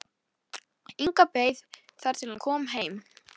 Inga beið þar til hann kom heim.